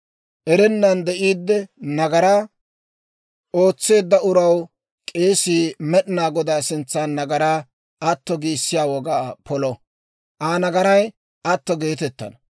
erennan de'iidde nagaraa ootseedda uraw k'eesii Med'inaa Godaa sintsan nagaraa atto giissiyaa wogaa polo; Aa nagaray atto geetettana.